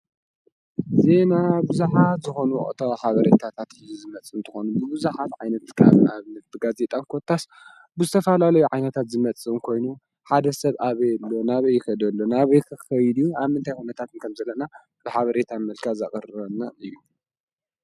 ዜና ብዙኃት ዝኾኑኦታ ሓበሬታታት ዝመጽእ እንተኾኑ ብብዙኃት ዓይነትካኣብን ኣብ ንፍብጋ ዘየጠን ኮታስ ብዝተፋላለይ ዓይነታት ዝመጽን ኮይኑ ሓደ ሰብ ኣበሎ ናበ ይኸደሎ ናበይ ኽኸይድዩ ኣብ ምንታይ ኩነታትን ከምዘለና ብሓበሬታን መልካ ዛቐርበናን እዩ።